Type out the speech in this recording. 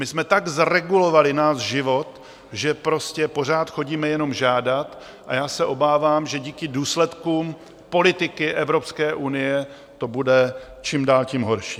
My jsme tak zregulovali náš život, že prostě pořád chodíme jenom žádat, a já se obávám, že díky důsledkům politiky Evropské unie to bude čím dál tím horší.